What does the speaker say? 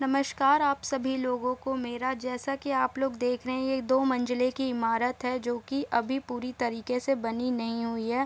नमस्कार आप सभी लोगो को मेरा जैसा की आप लोग देख रहे हैं ये दो मंजिले की इमारत है जो की अभी पूरी तरीके से बनी नहीं हुई है।